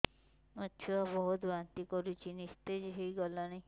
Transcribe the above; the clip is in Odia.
ମୋ ଛୁଆ ବହୁତ୍ ବାନ୍ତି କରୁଛି ନିସ୍ତେଜ ହେଇ ଗଲାନି